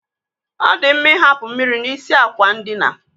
Ọ dị mma I hapụ mmiri n'isi àkwà ndina.